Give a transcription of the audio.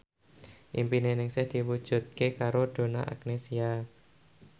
impine Ningsih diwujudke karo Donna Agnesia